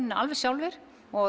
alveg sjálfir